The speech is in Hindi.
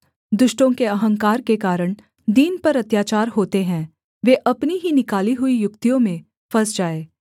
दुष्टों के अहंकार के कारण दीन पर अत्याचार होते है वे अपनी ही निकाली हुई युक्तियों में फँस जाएँ